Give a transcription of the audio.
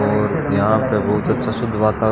और यहां पे बहुत अच्छा शुद्ध वाता--